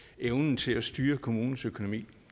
evnen til at styre kommunens økonomi